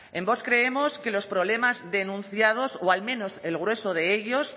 en vox creemos que los problemas denunciados o al menos el grueso de ellos